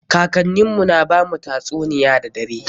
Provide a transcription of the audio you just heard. Kakannin mu na bamu tatsuniyoyi da dare.